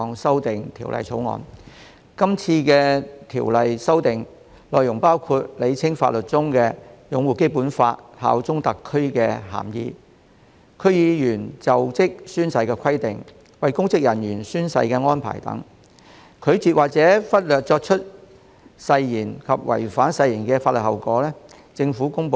這項《條例草案》的修訂內容包括：釐清法例中"擁護《基本法》、效忠特區"的涵義；區議員就職宣誓的規定；為公職人員監誓的安排；拒絕或忽略作出誓言及違反誓言的法律後果。